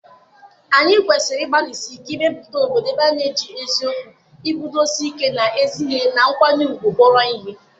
anyị kwesịrị ịgbalịsi ike ịmepụta obodo ebe a na-eji eziokwu, iguzosi ike n'ezi ihe, na nkwanye ùgwù kpọrọ ihe.